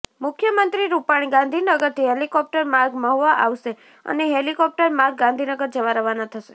મુખ્યમંત્રી રૃપાણી ગાંધીનગરથી હેલીકોપ્ટર માર્ગે મહુવા આવશે અને હેલીકોપ્ટર માર્ગે ગાંધીનગર જવા રવાના થશે